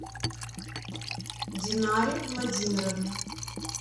динаре владимировне